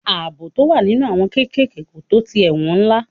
Ààbò tó wà nínú àwọn kéékèèké kò tó ti àwọn ẹ̀wọ̀n ńlá.